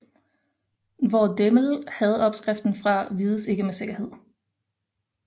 Hvor Demel havde opskriften fra vides ikke med sikkerhed